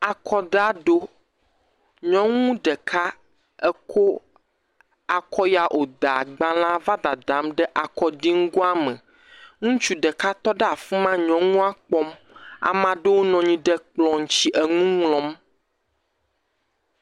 Akɔdaʋi ɖo. Nyɔnu ɖeka eko akɔ ya woda gbalea va dadam ɖe akɔɖiŋgoa me. Ŋutsu ɖeka tɔ ɖe afi ma nyɔnua kpɔm. Ame aɖewo nɔ anyi ɖe kplɔ dzi enu ŋlɔm.